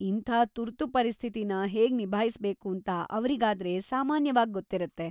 ಇಂಥ ತುರ್ತು ಪರಿಸ್ಥಿತಿನ ಹೇಗ್‌ ನಿಭಾಯ್ಸ್‌ಬೇಕೂಂತ ಅವ್ರಿಗಾದ್ರೆ ಸಾಮಾನ್ಯವಾಗ್‌ ಗೊತ್ತಿರತ್ತೆ.